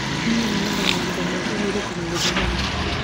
Niĩ nyonaga mahinda ma kũhurũka na gũthoma mabuku.